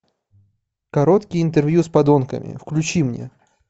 короткие интервью с подонками включи мне